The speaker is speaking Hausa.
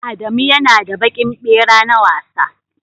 Adamu ya na da baƙin ɓera na wasa